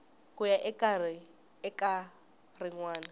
ku ya eka rin wana